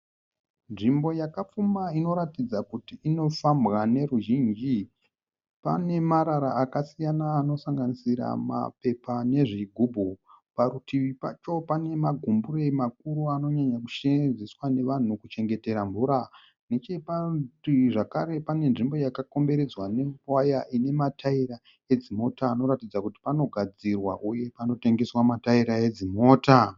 Nzvimbo yakapfumba inoratidza kuti inofamba neveruzhinji. Pane marara akasiyana anosanganisira mapepa nezvigumbu. Parutivi pacho pane magumbure makuru anonyanya kusevenzeswa nevanhu kuchengetera mvura. Necheparutivi zvekare pane nzvimbo yakakomberedzwa newaya ine mataira edzimota anoratidza kuti panogadzirwa uye panotengeswa mataira edzimota.